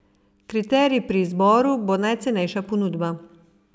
Kriterij pri izboru bo najcenejša ponudba.